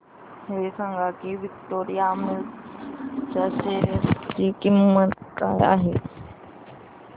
हे सांगा की विक्टोरिया मिल्स च्या शेअर ची किंमत काय आहे